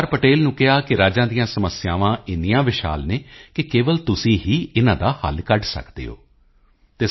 ਪਟੇਲ ਨੂੰ ਕਿਹਾ ਕਿ ਰਾਜਾਂ ਦੀਆਂ ਸਮੱਸਿਆਵਾਂ ਇੰਨੀਆਂ ਵਿਸ਼ਾਲ ਹਨ ਕਿ ਕੇਵਲ ਤੁਸੀਂ ਹੀ ਇਨਾਂ ਦਾ ਹੱਲ ਕੱਢ ਸਕਦੇ ਹੋ ਅਤੇ ਸ